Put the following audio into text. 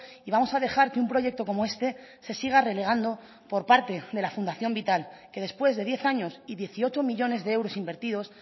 y vamos a dejar que un proyecto como este se siga relegando por parte de la fundación vital que después de diez años y dieciocho millónes de euros invertidos